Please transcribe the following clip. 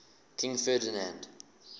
king ferdinand